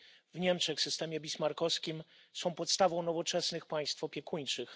w Niemczech systemie bismarckowskim są podstawą nowoczesnych państw opiekuńczych.